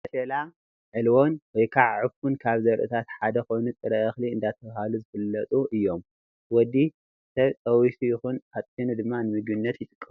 መሸላን ዕልቦን /ዕፉን/ ካብ ዘርኢታት ሓደ ኮይኑ ጥረ እክሊ እንዳተባሃሉ ዝፍለጡ እዮም። ወዲ ሰብ ጠቢሱ ይኩን ኣጥሕኑ ድማ ንምግብነት ይጥቀመሎም።